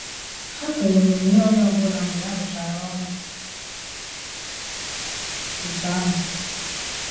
Ha toro onyinye onye ọbụla mgbe aruchara ọrụ otu ahu